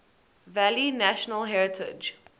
valley national heritage